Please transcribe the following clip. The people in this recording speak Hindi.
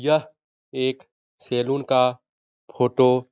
यह एक सेलून का फोटो --